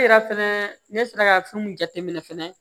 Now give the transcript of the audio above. Ne yɛrɛ fɛnɛ ne sera ka fɛn mun jateminɛ fɛnɛ